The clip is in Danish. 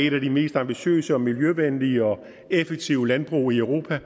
et af de mest ambitiøse og miljøvenlige og effektive landbrug i europa